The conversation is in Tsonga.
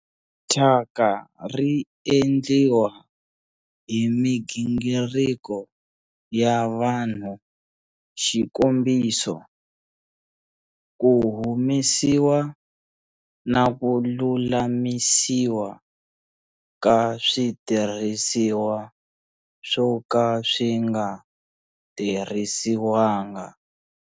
Thyaka ri endliwa hi migingiriko ya vanhu, xikombiso, ku humesiwa na ku lulamisiwa ka switirhisiwa swo ka swi nga tirhisiwanga.